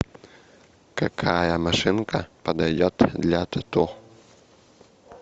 какая машинка подойдет для тату